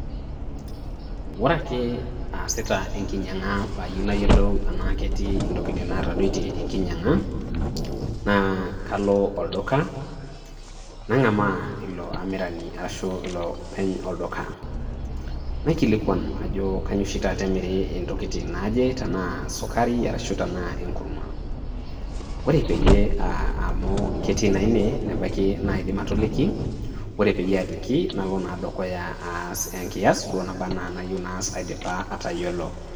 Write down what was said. Ore ake aasita eninyang'a pee ayou nayiolou annake etii intokitin natadoitie enkinyanga naa kalo olduka, nang'amaa ilo amirani arashu iloopeny olduka. Naikilikwan ajo kanyo oshi taata emiri intokitin naaje tanaa esukari anaa enkurma. Ore peeyie um amu ketii naa ine nebaiki naa aidim atoliki. Ore peeyie aaliki nalo naa dukuya aas enkiyas nabaa naa duo ana enayou naas aidipa atayiolou.